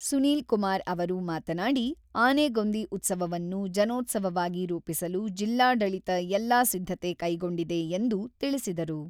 ಸುನೀಲ್ ಕುಮಾರ್ ಅವರು ಮಾತನಾಡಿ, ಆನೆಗೊಂದಿ ಉತ್ಸವವನ್ನು ಜನೋತ್ಸವವಾಗಿ ರೂಪಿಸಲು ಜಿಲ್ಲಾಡಳಿತ ಎಲ್ಲ ಸಿದ್ಧತೆ ಕೈಗೊಂಡಿದೆ ಎಂದು ತಿಳಿಸಿದರು.